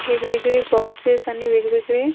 वेगवेगळे बॉक्सेस आणि वेगवेगळे--